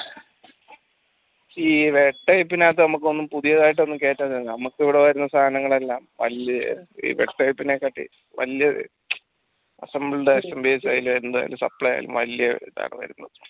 ഈ type നകത്തൊന്നും നമ്മുക് കെട്ടാൻ കയ്യില നമ്മുക്ക് ഇവിടെ വരുന്ന സാനങ്ങളെല്ലാം കാട്ടി വെല്യ assemble വരുന്ന